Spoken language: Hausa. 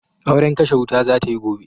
Auren kashe wuta za ta yi gobe.